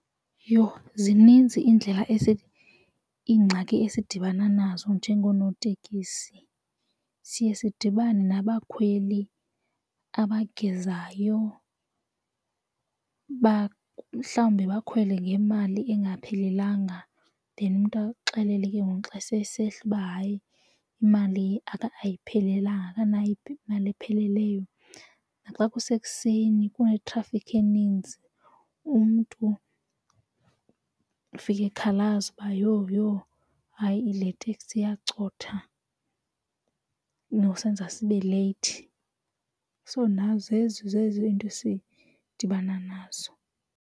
Yho, zininzi iindlela iingxaki esidibana nazo njengonootekisi, siye sidibane nabakhweli abagezayo mhlawumbi bakhwele ngemali engaphelelanga then umntu akuxelele ke ngoku xa se esehla uba hayi imali ayiphelelanga akanayo imali epheleleyo. Xa kusekuseni kunetrafikhi eninzi umntu ufike ekhalaza uba yho, yho hayi le teksi iyacotha uzokuzenza sibe leyithi. So, nazo into esidibana nazo.